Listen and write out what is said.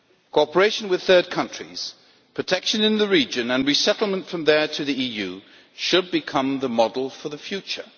Cooperation with third countries, protection in the region and resettlement from there to the EU should become the model for the future.